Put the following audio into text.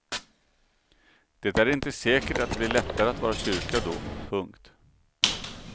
Det är inte säkert att det blir lättare att vara kyrka då. punkt